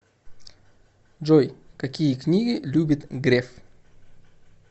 джой какие книги любит греф